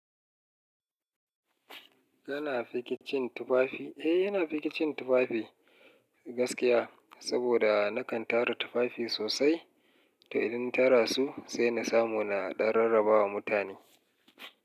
Kana fikicin tufafi? Eh yana fikicin tufafi gaskiya. Saboda na kan tara tufafi sosai, to idan tara su sai na samu na ɗan rarraba wa mutane.